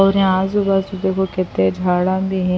اور صبح سویرے یہاں بہت سے صفائی کرنے والے ہوتے ہیں۔.